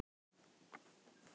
Opinber skipti